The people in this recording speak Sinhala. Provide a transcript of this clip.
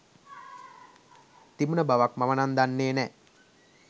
තිබුන බවක් මමනම් දන්නේ නෑ.